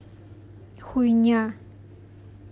хуйня